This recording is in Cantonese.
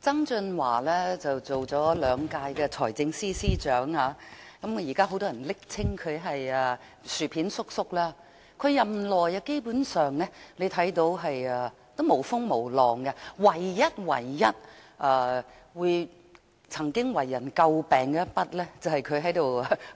曾俊華擔任了兩屆財政司司長，現時很多人暱稱他為"薯片叔叔"，他在任內基本上沒有風浪，唯一一次為人詬病的是